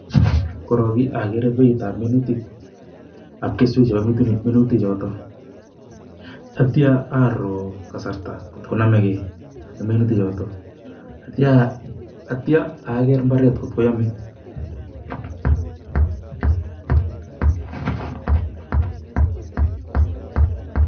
korok agere beit ab minutik ak keswek ab minutik chotok atya ato kasarta kotkonamekei ak minutik chotok atya ager mbaret kot ko yame